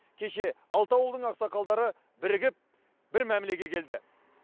кеше алты ауылдың ақсақалдары бірігіп бір мәмілеге келді